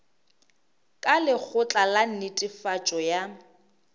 ka lekgotla la netefatšo ya